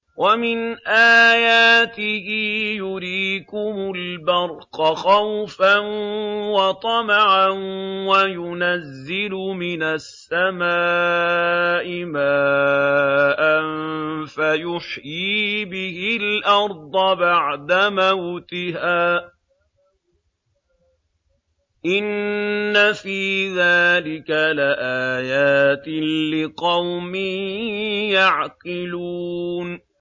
وَمِنْ آيَاتِهِ يُرِيكُمُ الْبَرْقَ خَوْفًا وَطَمَعًا وَيُنَزِّلُ مِنَ السَّمَاءِ مَاءً فَيُحْيِي بِهِ الْأَرْضَ بَعْدَ مَوْتِهَا ۚ إِنَّ فِي ذَٰلِكَ لَآيَاتٍ لِّقَوْمٍ يَعْقِلُونَ